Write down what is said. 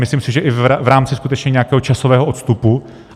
Myslím si, že i v rámci skutečně nějakého časového odstupu.